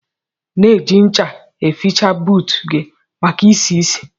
Na eji ncha eficha buut gi maka isi-isi